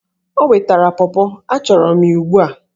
O wetara pọpọ! achọrọ m ya ugbu a!